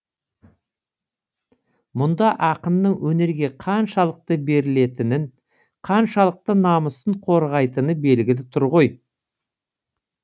мұнда ақынның өнерге қаншалықты берілетінін қаншалықты намысын қорғайтыны белгілі тұр ғой